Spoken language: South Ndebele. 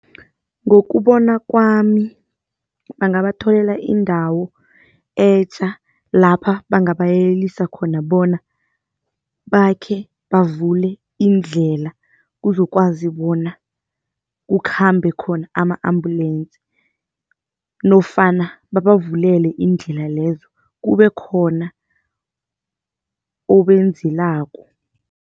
Ngokubona kwami, bangabatholela indawo etja lapha bangabayelelisa khona bona, bakhe bavule iindlela kuzokwazi bona kukhambe khona ama-ambulensi nofana babavulele iindlela lezo, kube khona obenzelako.